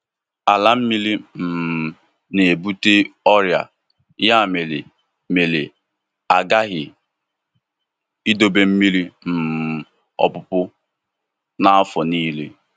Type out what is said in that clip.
Ala mmiri um na-ebute ọrịa, ya mere mere a ghaghị idobe mmiri um ọpụpụ n'afọ niile.